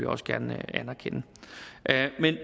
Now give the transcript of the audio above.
også gerne anerkende